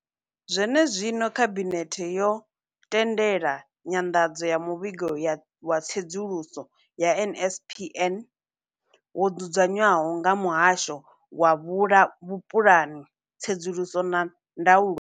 Zwene zwino, Khabinethe yo tendela nyanḓadzo ya Muvhigo wa Tsedzuluso ya NSNP wo dzudzanywaho nga Muhasho wa Vhupulani, Tsedzuluso na Ndaulo.